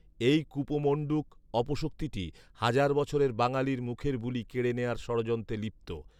এই কূপমণ্ডূক অপশক্তিটি হাজার বছরের বাঙালীর মুখের বুলি কেড়ে নেয়ার ষড়যন্ত্রে লিপ্ত